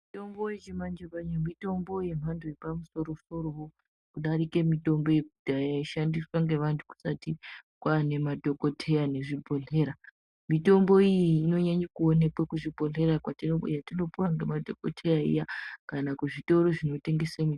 Mitombo yechimanje manje mitombo yemhando yepamusoro soro kudarika mitombo yekudhaya yaishandiswa ngevantu kusati kwane madhokoteya nezvibhedhlera . Mitombo iyi inonyanye kuonekwa kuzvibhedhlera yatinopuwa ngemadhokoteya iya kana kuzvitoro zvinotengesa mitombo.